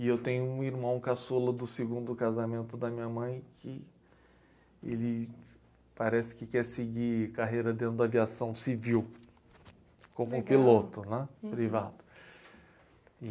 E eu tenho um irmão caçula do segundo casamento da minha mãe, que ele parece que quer seguir carreira dentro da aviação civil, como piloto né privado.